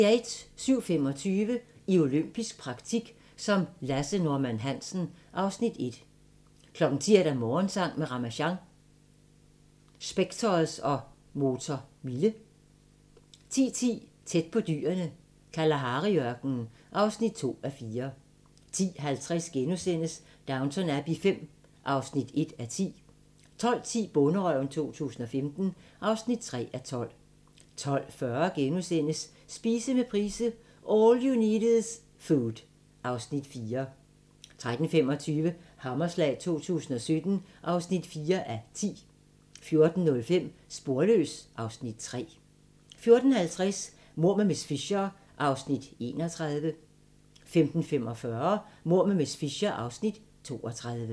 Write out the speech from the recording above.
07:25: I olympisk praktik som Lasse Norman Hansen (Afs. 1) 10:00: Morgensang med Ramasjang | Specktors og Motor Mille 10:10: Tæt på dyrene i Kalahari-ørkenen (2:4) 10:50: Downton Abbey V (1:10)* 12:10: Bonderøven 2015 (3:12) 12:40: Spise med Price – All you need is food (Afs. 4)* 13:25: Hammerslag 2017 (4:10) 14:05: Sporløs (Afs. 3) 14:50: Mord med miss Fisher (31:13) 15:45: Mord med miss Fisher (32:13)